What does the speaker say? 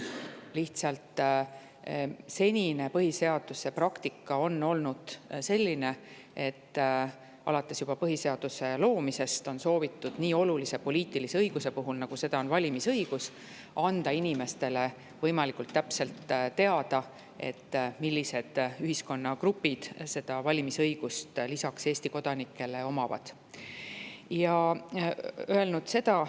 Lihtsalt senine põhiseaduse praktika on olnud selline, et alates juba põhiseaduse loomisest on soovitud nii olulise poliitilise õiguse puhul, nagu seda on valimisõigus, anda inimestele võimalikult täpselt teada, millistel ühiskonnagruppidel on see valimisõigus lisaks Eesti kodanikele.